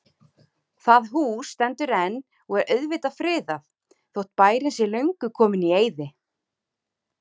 Það hús stendur enn og er auðvitað friðað, þótt bærinn sé löngu kominn í eyði.